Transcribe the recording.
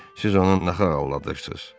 "Siz onu nahaq aldadırsız."